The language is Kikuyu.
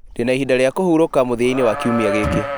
ndĩna ihinda rĩa kũhurũka mũthia-inĩ wa kiumia gĩkĩ